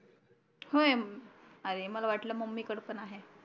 होय अरे मला वाटल मम्मी कडे पण आहे